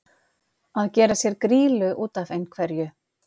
Að gera sér grýlu út af einhverju